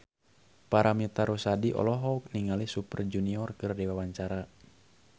Paramitha Rusady olohok ningali Super Junior keur diwawancara